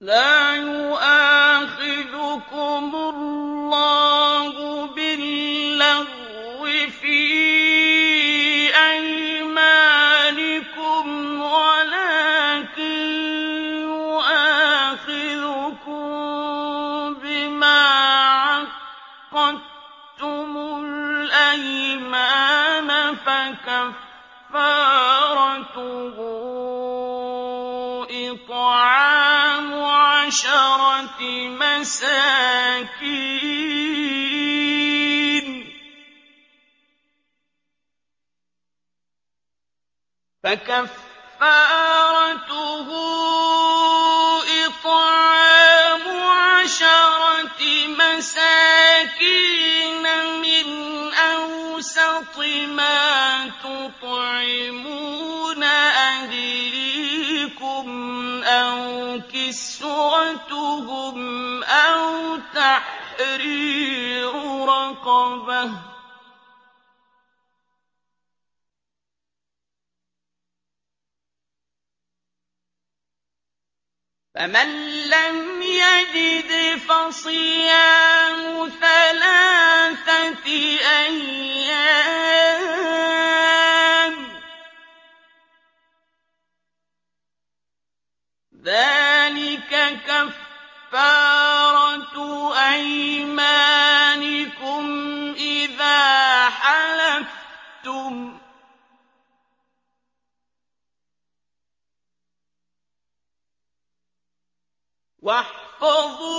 لَا يُؤَاخِذُكُمُ اللَّهُ بِاللَّغْوِ فِي أَيْمَانِكُمْ وَلَٰكِن يُؤَاخِذُكُم بِمَا عَقَّدتُّمُ الْأَيْمَانَ ۖ فَكَفَّارَتُهُ إِطْعَامُ عَشَرَةِ مَسَاكِينَ مِنْ أَوْسَطِ مَا تُطْعِمُونَ أَهْلِيكُمْ أَوْ كِسْوَتُهُمْ أَوْ تَحْرِيرُ رَقَبَةٍ ۖ فَمَن لَّمْ يَجِدْ فَصِيَامُ ثَلَاثَةِ أَيَّامٍ ۚ ذَٰلِكَ كَفَّارَةُ أَيْمَانِكُمْ إِذَا حَلَفْتُمْ ۚ وَاحْفَظُوا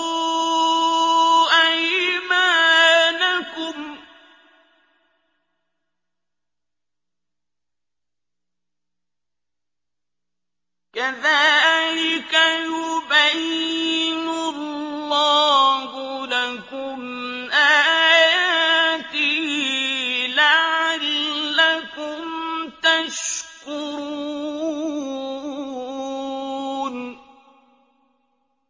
أَيْمَانَكُمْ ۚ كَذَٰلِكَ يُبَيِّنُ اللَّهُ لَكُمْ آيَاتِهِ لَعَلَّكُمْ تَشْكُرُونَ